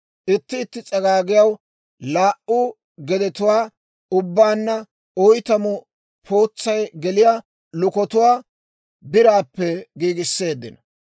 Itti itti s'agaagiyaw laa"u gedetuwaa, ubbaanna oytamu pootsay geliyaa lukatuwaa biraappe giigisseeddino.